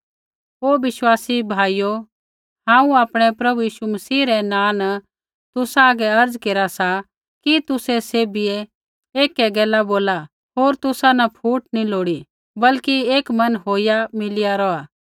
हे विश्वासी भाइयो हांऊँ आपणै प्रभु यीशु मसीह रै नाँ न तुसा हागै अर्ज़ा केरा सा कि तुसै सैभियै एकै गैल बोला होर तुसा न फूट नी लोड़ी बल्कि एक मन होईया मिलिया रौहा